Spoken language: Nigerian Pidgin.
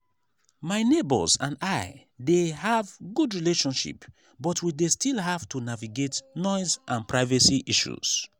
my neighbors and i dey have good relationship but we dey still have to navigate noise and privacy issues.